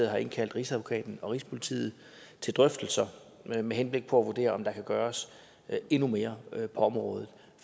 har indkaldt rigsadvokaten og rigspolitiet til drøftelser med henblik på at vurdere om der kan gøres endnu mere på området